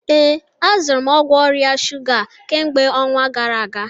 Ee, azụrụ m ọgwụ ọrịa shuga a kemgbe ọnwa gara aga